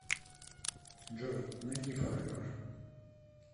джой найди форевер